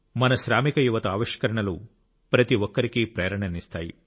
మన శ్రామిక యువత ఆవిష్కరణలు ప్రతి ఒక్కరికీ ప్రేరణనిస్తాయి